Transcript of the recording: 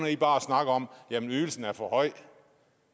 i bare at snakke om at ydelsen er for høj